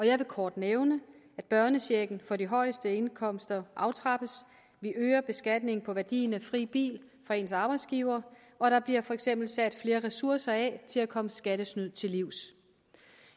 jeg vil kort nævne at børnechecken for de højeste indkomster aftrappes vi øger beskatningen på værdien af fri bil fra ens arbejdsgiver og der bliver for eksempel sat flere ressourcer af til at komme skattesnyd til livs